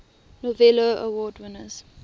novello award winners